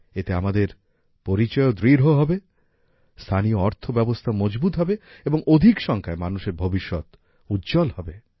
এতে আমাদের পরিচয়ও দৃঢ় হবে স্থানীয় অর্থ ব্যবস্থাও মজবুত হবে এবং অধিক সংখ্যায় মানুষের ভবিষ্যৎ উজ্জ্বল হবে